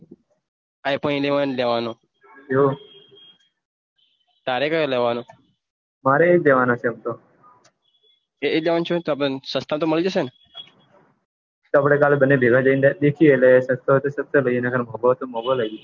તો કાલે આપને બંને ભેગા જઈ દેખિયે અને સસ્તો હોય તો સસ્તો નકર મોગો હોય તો મોગો લિયે